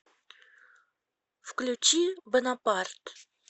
включи бонапарт